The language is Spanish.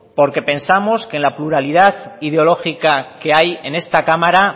porque pensamos que en la pluralidad ideológica que hay en esta cámara